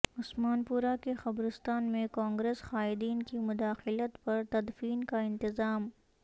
عثمان پورہ کے قبرستان میں کانگریس قائدین کی مداخلت پر تدفین کا انتظام